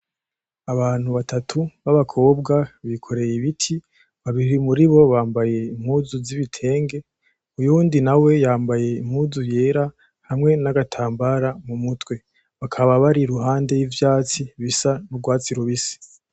Abantu batatu babakobwa bikoreye ibiti, babiri muribo bambaye impuzu z'ibitenge uyundi nawe yambaye impuzu yera hamwe n'agatambara mu mutwe. Bakaba bari iruhande y'ivyatsi bisa nk'ugwatsi rubisi.